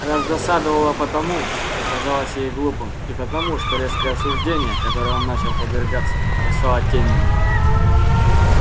раздосадовало потому что казалось ей глупым и потому что резкое осуждение которому он начал подвергаться бросало тень и на нее